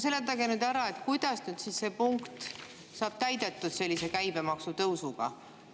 Seletage nüüd ära, kuidas siis see punkt saab täidetud sellise käibemaksutõusuga.